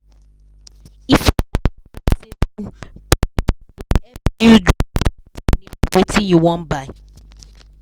if you get correct saving plane go help you drop first money for wetin you wan buy.